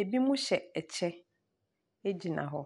ebi mo hyɛ ɛkyɛ gyina hɔ.